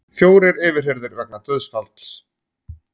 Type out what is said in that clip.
Fjórir yfirheyrðir vegna dauðsfalls